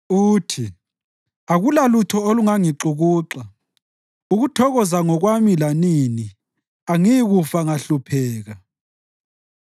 Uthi, “Akulalutho olungangixukuxa; ukuthokoza ngokwami lanini, angiyikufa ngahlupheka.”